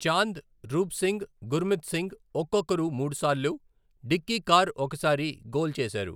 చాంద్, రూప్ సింగ్, గుర్మిత్ సింగ్, ఒక్కొక్కరు మూడుసార్లు, Dickie Carr ఒకసారి గోల్ చేశారు.